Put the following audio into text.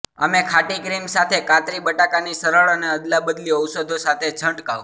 અમે ખાટી ક્રીમ સાથે કાતરી બટાકાની સરળ અને અદલાબદલી ઔષધો સાથે છંટકાવ